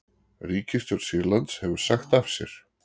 Ríkisstjórn Sýrlands hefur sagt af sér